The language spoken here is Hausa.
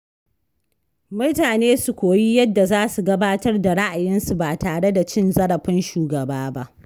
Mutane su koyi yadda za su gabatar da ra’ayinsu ba tare da cin zarafin shugaba ba.